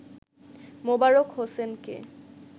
মোবারক হোসেনকে